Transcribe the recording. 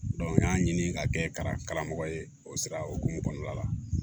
n y'a ɲini ka kɛ karamɔgɔ ye o sira hokumu kɔnɔna la